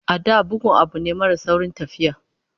A da, bugu abu ne mara saurin tafiya.